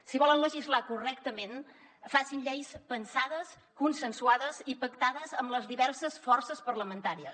si volen legislar correctament facin lleis pensades consensuades i pactades amb les diverses forces parlamentàries